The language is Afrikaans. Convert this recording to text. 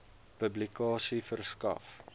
publikasie verskaf